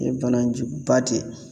O ye bana juguba de ye